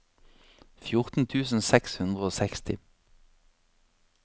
fjorten tusen seks hundre og seksti